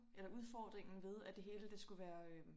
Eller udfordringen ved at det hele det skulle være øh